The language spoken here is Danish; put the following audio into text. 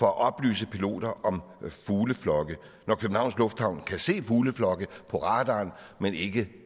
at oplyse piloter om fugleflokke når københavns lufthavn kan se fugleflokke på radaren men ikke